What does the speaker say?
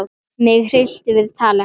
Mig hryllti við tali hans.